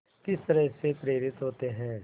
किस तरह से प्रेरित होते हैं